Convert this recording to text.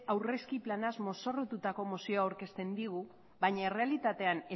aurrezki planaz mozorrotutako mozioa aurkezten digu baina errealitatean